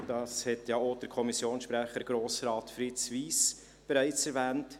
Der Kommissionssprecher, Grossrat Fritz Wyss, hat dies bereits erwähnt.